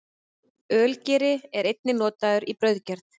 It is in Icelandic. Ölgeri er einnig notaður við brauðgerð.